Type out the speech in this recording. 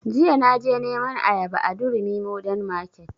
Jiya na je neman ayaba a durumi modern market